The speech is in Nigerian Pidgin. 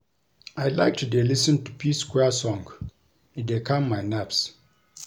I like to dey lis ten to P-square song e dey calm my nerves